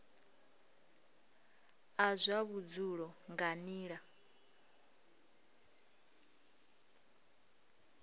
a zwa vhudzulo nga nila